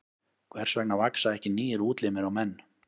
Hvers vegna vaxa ekki nýir útlimir á menn?